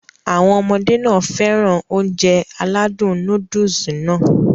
Àwọn ọmọdé nàá fẹ́ràn Ounjẹ aládùn nóódùsì Nàá